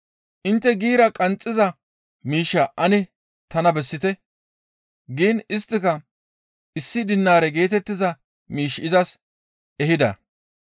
Intte giira qanxxiza miishshaa ane tana bessite» giin isttika issi dinaare geetettiza miish izas ehida.